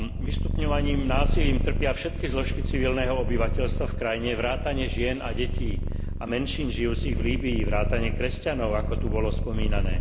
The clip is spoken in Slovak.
Vystupňovaným násilím trpia všetky zložky civilného obyvateľstva v krajine vrátane žien a detí a menšín žijúcich v Líbyi vrátane kresťanov, ako tu bolo spomínané.